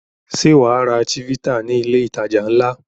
Ṣé wà á ra Chivita ní ilé-ìtajà ńlá?